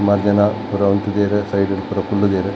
ಸುಮಾರ್ ಜನ ಪೂರ ಉಂತುದೆರ್ ಸೈಡ್ ಡು ಪೂರ ಕುಲ್ಲುದೆರ್.